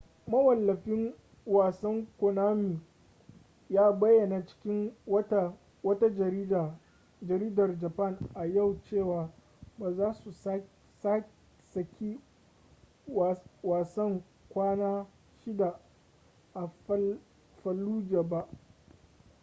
mawallafin wasan konami ya bayyana cikin wata jaridar japan a yau cewa ba za su saki wasan kwana shida a fallujah ba